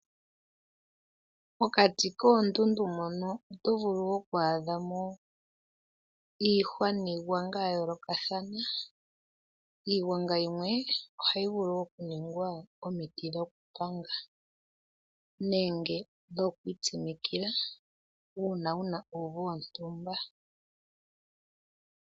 Mokati koondundu mono oto vulu woo oku adha mo iihwa niigwanga yayoolokathana. Iigwanga yimwe ohayi vulu okuningwa omiti dhokupanga nenge dhokwiitsimikila uuna wuna uuvu wontumba.